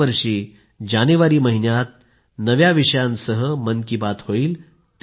पुढल्या वर्षी जानेवारी महिन्यात नव्या विषयांवर मन की बात होईल